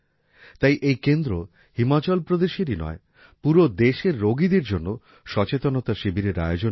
তাই এই কেন্দ্র হিমাচল প্রদেশেরই নয় পুরো দেশের রোগীদের জন্য সচেতনতা শিবিরের আয়োজন করে